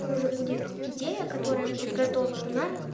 тоже будет идея которая будет готова на